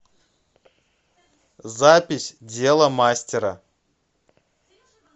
запись дело мастера